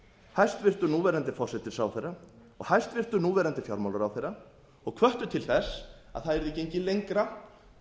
hæstvirtur núverandi forsætisráðherra og hæstvirtur núverandi fjármálaráðherra og hvöttu til þess að það yrði gengið lengra